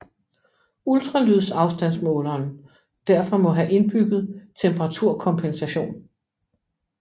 Ultralydsafstandsmåleren derfor må have indbygget temperaturkompensation